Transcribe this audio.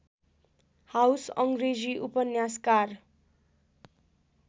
house अङ्ग्रेजी उपन्यासकार